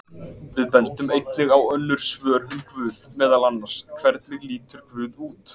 Við bendum einnig á önnur svör um guð, meðal annars: Hvernig lítur guð út?